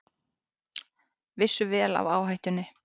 Vissu vel af áhættunni